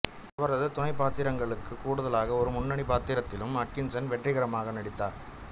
அவரது துணைப்பாத்திரங்களுக்கு கூடுதலாக ஒரு முன்னணி பாத்திரத்திலும் அட்கின்சன் வெற்றிகரமாக நடித்தார்